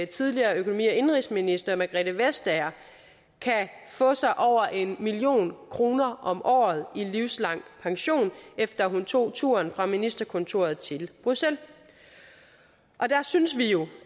tidligere økonomi og indenrigsminister margrethe vestager kan få sig over en million kroner om året i livslang pension efter at hun tog turen fra ministerkontoret til bruxelles der synes vi jo